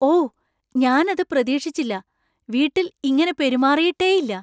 ഓ, ഞാൻ അത് പ്രതീക്ഷിച്ചില്ല. വീട്ടിൽ ഇങ്ങനെ പെരുമാറിയിട്ടേയില്ല